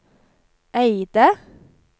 Eide